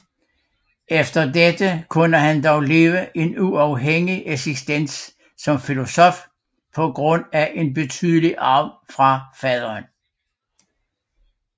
Efter dette kunne han dog leve en uafhængig eksistens som filosof på grund af en betydelig arv fra faderen